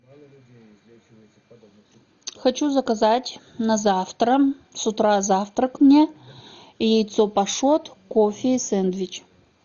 хочу заказать на завтра с утра завтрак мне яйцо пашот кофе и сэндвич